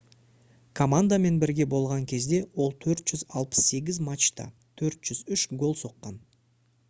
командамен бірге болған кезде ол 468 матчта 403 гол соққан